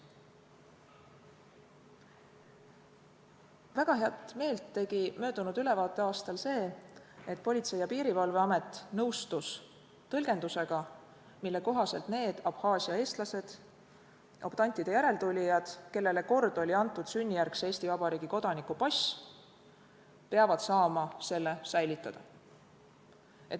Palju heameelt tegi möödunud ülevaateaastal Politsei- ja Piirivalveameti nõustumine tõlgendusega, mille kohaselt need Abhaasia eestlased, optantide järeltulijad, kellele kord oli antud sünnijärgse Eesti Vabariigi kodaniku pass, peavad saama selle säilitada.